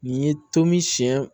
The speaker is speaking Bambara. Nin ye tomi siɲɛ